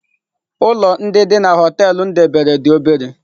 Ụlọ ndị dị na họtelu m debere dị obere.